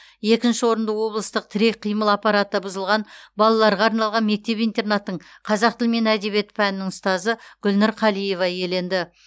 екінші орынды облыстық тірек қимыл аппараты бұзылған балаларға арналған мектеп интернаттың қазақ тілі мен әдебиеті пәнінің ұстазы гүлнұр қалиева иеленді